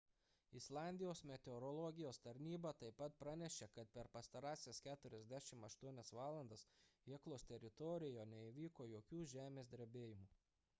islandijos meteorologijos tarnyba taip pat pranešė kad per pastarąsias 48 valandas heklos teritorijoje neįvyko jokių žemės drebėjimų